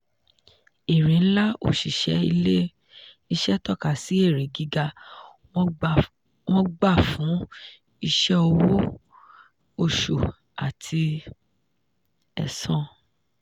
èrè ńlá òṣìṣẹ́ ilé-iṣẹ́ tọ́ka sí èrè gíga wọn gbà fún iṣẹ́ owó oṣù àti ẹ̀san.